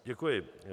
Děkuji.